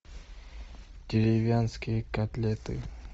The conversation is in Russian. деревенские котлеты